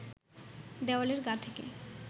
দেওয়ালের গা থেকে